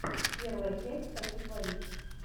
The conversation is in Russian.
первая часть хочу творить